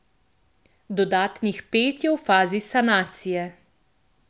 Dodatnih pet je v fazi sanacije.